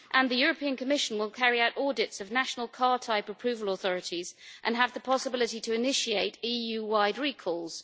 And the European Commission will carry out audits of national car type approval authorities and have the possibility to initiate EU wide recalls.